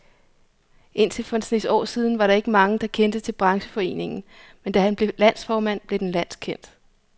Indtil for en snes år siden var der ikke mange, der kendte til brancheforeningen, men da han blev landsformand, blev den landskendt.